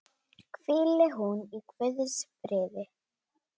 Hvíli hún í Guðs friði.